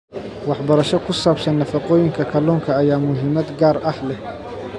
Waxbarasho ku saabsan nafaqooyinka kalluunka ayaa muhiimad gaar ah leh.